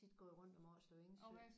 Så har vi også tit gået rundt om Årslev Engsø